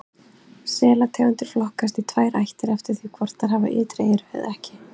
Selategundir flokkast í tvær ættir eftir því hvort þær hafa ytri eyru eða ekki.